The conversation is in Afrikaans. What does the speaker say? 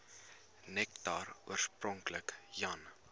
nektar oorspronklik jan